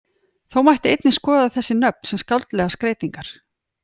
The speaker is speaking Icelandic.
Þó mætti einnig skoða þessi nöfn sem skáldlegar skreytingar.